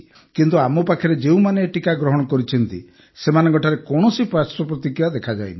କିନ୍ତୁ ଆମ ପାଖରେ ଯେଉଁମାନେ ଏ ଟିକା ଗ୍ରହଣ କରିଛନ୍ତି ସେମାନଙ୍କଠାରେ କୌଣସି ପାର୍ଶ୍ବ ପ୍ରତିକ୍ରିୟା ଦେଖାଯାଇନି